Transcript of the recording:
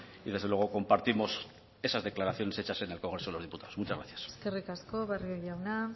y desde luego compartimos esas declaraciones hechas en el congreso de los diputados muchas gracias eskerrik asko barrio jauna